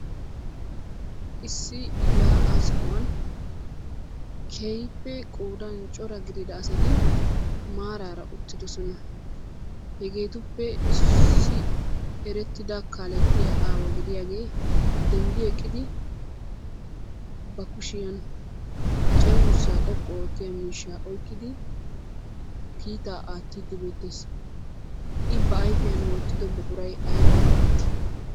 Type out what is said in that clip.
Issi yaa'aa sohuwan keehippe qoodan cora gidida asati maaraara uttidosona. Hegeetuppe issi erettida kaalettiya aawa gidiyagee denddi eqqidi ba kushiyan cenggurssaa xoqqu oottiya miishshaa oykkidi kiitaa aattiiddi beettees. I ba ayfiyan wottido buquray abaa geeteettii?